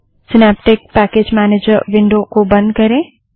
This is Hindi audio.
सिनैप्टिक पैकेज मैनेजर विंडो को बंद करें